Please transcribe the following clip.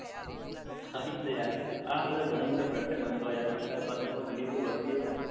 હા એજ ને આ બધા ઘણા બધા માનતા હોય છે કે ટાર પતંગો વધતી હોય.